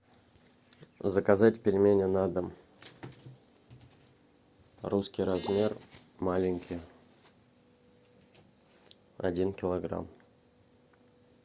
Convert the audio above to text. заказать пельмени на дом русский размер маленькие один килограмм